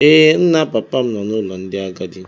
Ee, nna papa m nọ n’ụlọ ndị agadi.